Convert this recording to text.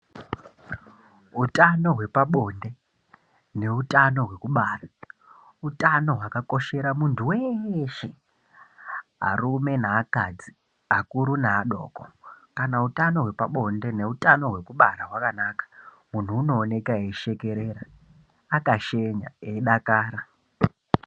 Utano hwepabonde neutano hwekubara, utano hwakakoshera munthu weshe arume neakadzi, akuru neadoko, kana utano hwepabonde neutano hwekubara hwakanaka munhu unooneka eishekerera, akashenya eidakara.